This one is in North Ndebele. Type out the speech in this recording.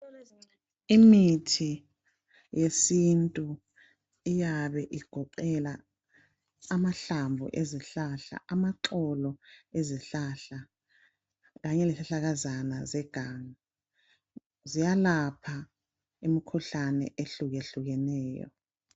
imithi yesintu iyabe igoqela amahlamvu ezihlahla amaxolo ezihlahla kanye lezihlahlakazana zeganga ziyalapha imikhuhlane ehlukehlukeneyo